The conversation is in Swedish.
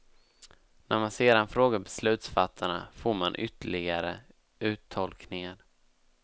När man sedan frågar beslutsfattarna, får man ytterligare uttolkningar.